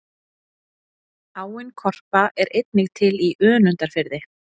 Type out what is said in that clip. áin korpa er einnig til í önundarfirði